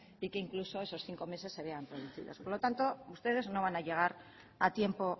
y que incluso esos cinco meses se vean reducidos por lo tanto ustedes no van a llegar a tiempo